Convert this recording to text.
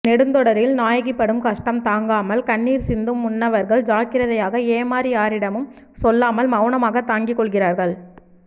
நெடுந்தொடரில் நாயகி படும் கஷ்டம் தாங்காமல் கண்ணீர் சிந்தும் முன்னவர்கள் ஜாக்கிரதையாக ஏமாறி யாரிடமும் சொல்லாமல் மௌனமாகத் தாங்கிக் கொள்கிறார்கள்